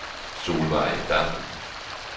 Solvejg Dam